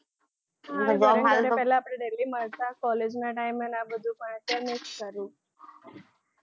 પેલા આપડે મળતા college ના time એ ને આ બધું ભણતરને જ કર્યું